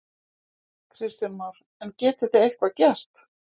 Kristján Már: En getið þið eitthvað gert?